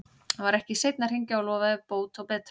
Hann var ekki seinn að hringja og lofaði bót og betrun.